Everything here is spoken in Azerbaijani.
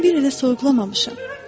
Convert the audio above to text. Mən bir ilə soyuqlamamışam.